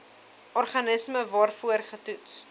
organisme waarvoor getoets